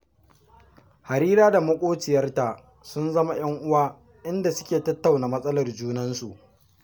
Harira da maƙociyarta sun zama 'yan uwa, inda suke tattauna matsalar junansu